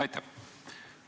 Aitäh!